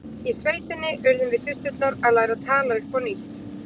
Í sveitinni urðum við systurnar að læra að tala upp á nýtt.